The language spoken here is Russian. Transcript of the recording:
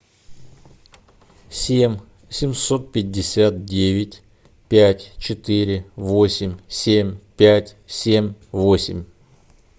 семь семьсот пятьдесят девять пять четыре восемь семь пять семь восемь